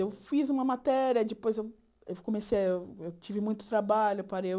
Eu fiz uma matéria, depois eu eu comecei, eu tive muito trabalho, parei.